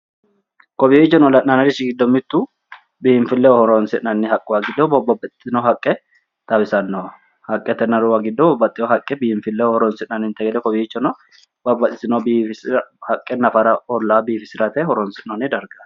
kowiichono la'nannirichi giddo mittu biinfilleho horonsi'nanno haqqe giddo babbxitewo haqqe xawisannoho. haqqetnaruwa giddo horonsi'nanninte gede kowiichono babbaxitino bisira haqqe nafara ollaa biifisirate horonsi'noonni dargaati.